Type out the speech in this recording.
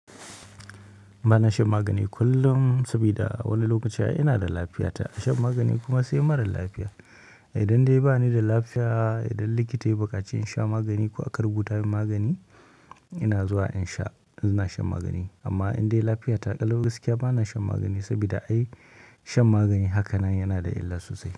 Ba na shan magani kullum saboda a wani lokaci ina da lafiyata. Shan magani kuma sai mara lafiya. Idan dai ba ni da lafiya, idan likita ya buƙaci in sha magani ko aka rubuta min magani, ina zuwa in sha, ina shan magani. Amma idan dai lafiyata ƙalau gaskiya ba na shan magani sabida ai shan magani haka nan yana da illa sosai.